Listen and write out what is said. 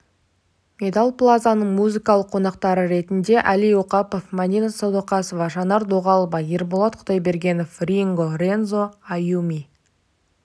медал плазаның музыкалық қонақтары ретінде әли оқапов мәдина сәдуақасова жанар дұғалова ерболат құдайбергенов ринго рензо аюми